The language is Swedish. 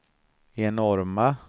enorma